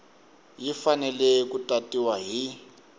yi fanele ku tatiwa hi